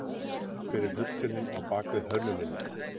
Hver er hugsunin á bakvið hönnunina?